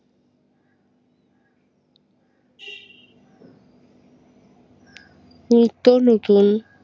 নিত্য নতুন